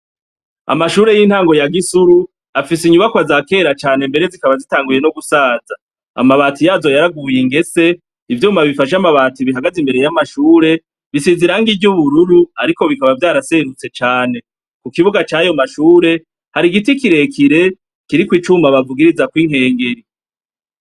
Amashure yintango ya Gisuru, afise inyubakwa za kera Cane mbere zikaba zitanguye amabati yazo yaraguye ingese , ivyuma bifashe bihagaze imbere yamashure bisize irangi ry nubururu ariko rikaba ryaraserutse cane kukibagu cayo mashure hari igiti kirekire kirikwicuma bavugirizamwo ikengeri.